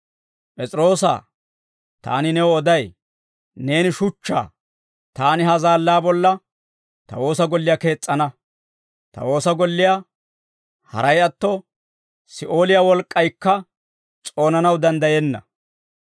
P'es'iroosaa, taani new oday; neeni shuchchaa; taani ha zaallaa bolla ta woosa golliyaa kees's'ana; ta woosa golliyaa haray atto, Si'ooliyaa wolk'k'aykka s'oonanaw danddayenna.